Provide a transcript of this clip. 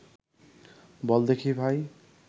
বল দেখি ভাই